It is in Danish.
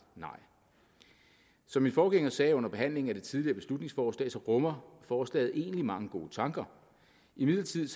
nej som min forgænger sagde under behandlingen af det tidligere beslutningsforslag rummer forslaget egentlig mange gode tanker imidlertid